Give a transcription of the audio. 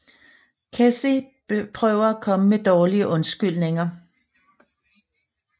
Kathy prøver at komme med dårlige undskyldninger